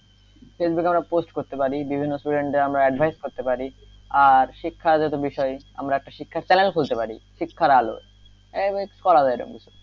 ফেসবুকে আমরা post করতে পারি বিভিন্ন student আমরা advice করতে পারি আর শিক্ষার যেহেতু বিষয় আমরা একটা শিক্ষার channel খুলতে পারি শিক্ষার আলো এইভাবে কিছু করা যায় কিছু,